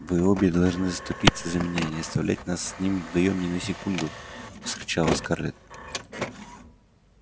вы обе должны заступиться за меня и не оставлять нас с ним вдвоём ни на секунду вскричала скарлетт